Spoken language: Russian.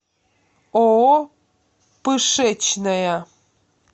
ооо пышечная